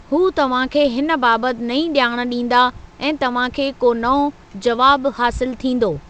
हू तव्हां खे हिन बाबति नईं ॼाण ॾींदा ऐं तव्हां खे को नओं जवाबु हासिलु थींदो।